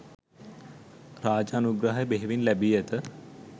රාජ අනුග්‍රහය බෙහෙවින්ම ලැබී ඇත.